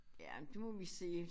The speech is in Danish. Ja det må vi se